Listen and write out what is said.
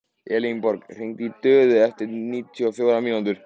Elenborg, hringdu í Döðu eftir níutíu og fjórar mínútur.